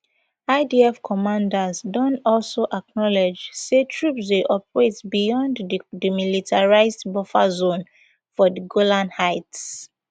idf commanders don also acknowledge say troops dey operate beyond di demilitarised buffer zone for di golan heights